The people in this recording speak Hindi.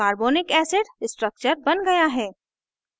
carbonic acid h